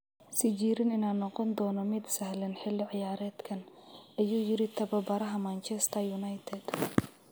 "Sijiriin inaan noqon doono mid sahlan xilli ciyaareedkan," ayuu yiri tababaraha Manchester United.